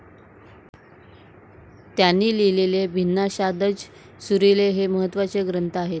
त्यांनी लिहिलेले 'भिन्नाशाद्ज' 'सुरीले' हे महत्वाचे ग्रंथ आहेत.